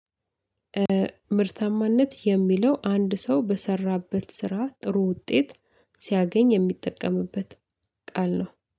ምርታማነት የሚለው አንድ ሰው በሰራበት ስራ ጥሩ ውጤት ሲያገኝ የሚጠቀምበት ቃል ነው